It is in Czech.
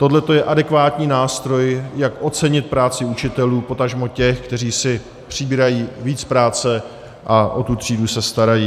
Tohle je adekvátní nástroj, jak ocenit práci učitelů, potažmo těch, kteří si přibírají víc práce a o tu třídu se starají.